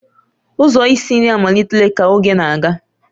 Ụzọ isi nri amalitela ka oge na-aga